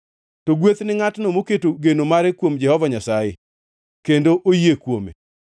“To ogwedh ngʼatno moketo geno mare kuom Jehova Nyasaye, kendo oyie kuome.